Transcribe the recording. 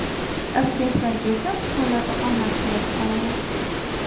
Abituriyentlarga esa imtihonlarda omad tilab qolaman!